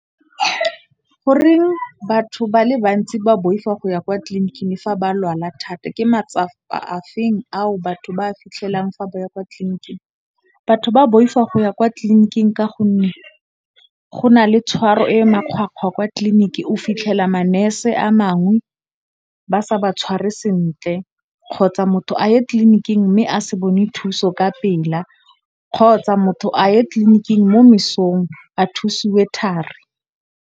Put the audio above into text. Goreng batho ba le bantsi ba boifa go ya kwa tlliniking fa ba lwala thata, ke matsapa a feng ao batho ba a fitlhelang fa ba ya kwa tlliniking? Batho ba boifa go ya kwa tlliniking ka gonne, go na le tshwaro e makgwakgwa kwa tlliniking o fitlhela manese a mangwe ba sa ba tshware sentle, kgotsa motho a ye tlliniking mme a se bone thuso ka pela, kgotsa motho a ye tlliniking mo mesong a thusiwe thari.